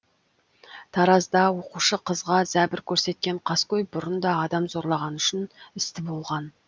таразда оқушы қызға зәбір көрсеткен қаскөй бұрын да адам зорлағаны үшін істі болған